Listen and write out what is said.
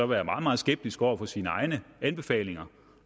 være meget meget skeptiske over for sine egne anbefalinger